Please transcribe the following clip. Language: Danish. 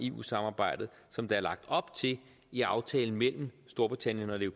eu samarbejdet som der er lagt op til i aftalen mellem storbritannien og det